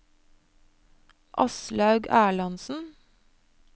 Aslaug Erlandsen